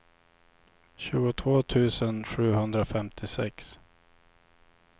tjugotvå tusen sjuhundrafemtiosex